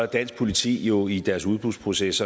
dansk politi jo i deres udbudsproces